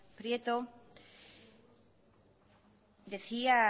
prieto decía